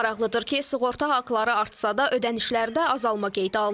Maraqlıdır ki, sığorta haqları artsa da ödənişlərdə azalma qeydə alınıb.